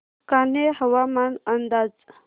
कान्हे हवामान अंदाज